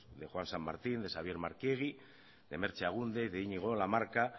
de juan san martín de xabier markiegi merche agúndez y de iñigo lamarca